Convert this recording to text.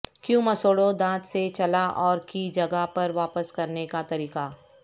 کیوں مسوڑوں دانت سے چلا اور کی جگہ پر واپس کرنے کا طریقہ